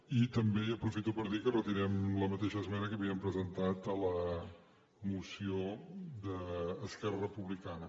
i també aprofito per dir que retirem la mateixa esmena que havíem presentat a la moció d’esquerra republicana